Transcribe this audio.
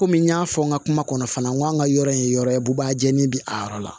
Komi n y'a fɔ n ka kuma kɔnɔ fana n ko an ka yɔrɔ ye yɔrɔ ye bubajeli bi a yɔrɔ la